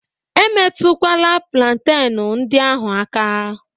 E metụkwala plantenu ndị ahụ aka!